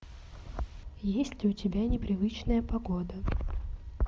есть ли у тебя непривычная погода